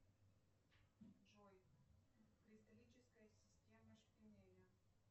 джой кристаллическая система шпинели